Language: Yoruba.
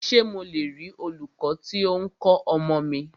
Ṣé mo le rí olūkọ́ tí o ń kọ́ ọmọ mi?